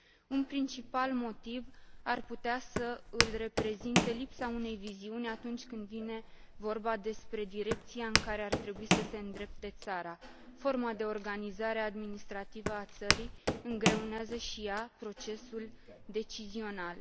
Un principal motiv ar putea să îl reprezinte lipsa unei viziuni atunci când vine vorba despre direcția în care ar trebui să se îndrepte țara. Forma de organizare administrativă a țării îngreunează și ea procesul decizional.